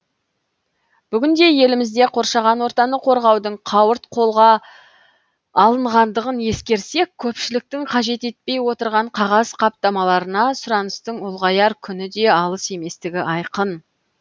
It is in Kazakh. бүгінде елімізде қоршаған ортаны қорғаудың қауырт қолға алынғандығын ескерсек көпшіліктің қажет етпей отырған қағаз қаптамаларына сұраныстың ұлғаяр күні де алыс еместігі айқын